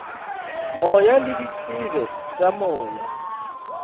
moya le ditsebe tša moya